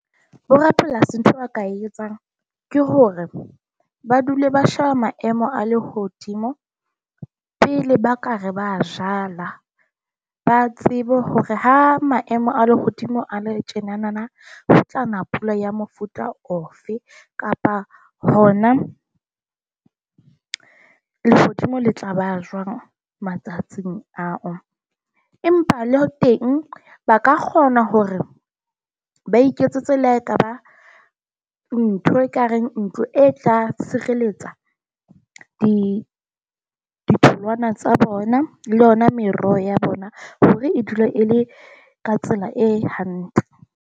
Borapolasi ntho ba ka etsang ke hore ba dule ba sheba maemo a lehodimo pele ba ka re ba jala. Ba tsebe hore ha maemo a lehodimo a le tjenanana ho utlwana. pula ya mofuta ofe kapa hona lehodimo le tla ba jwang matsatsing ao. Empa le teng ba ka kgona hore ba iketsetse le ha ekaba ntho ekareng ntlo e tla tshireletsa ditholwana tsa bona, le yona meroho ya bona, hore e dula e le ka tsela e hantle.